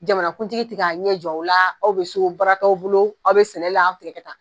Jamanakuntigi ti k'a ɲɛ jɔ aw la aw be so baara t'aw bolo aw be sɛnɛ la tigɛ kɛta